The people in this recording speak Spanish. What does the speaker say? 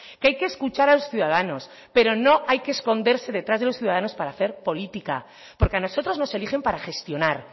que hay que escuchar a los ciudadanos pero no hay que esconderse detrás de los ciudadanos para hacer política porque a nosotros nos eligen para gestionar